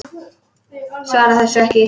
Svarar þessu ekki.